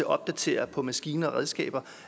opdatere på maskiner og redskaber